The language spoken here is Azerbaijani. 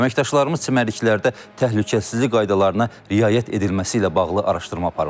Əməkdaşlarımız çimərliklərdə təhlükəsizlik qaydalarına riayət edilməsi ilə bağlı araşdırma aparıblar.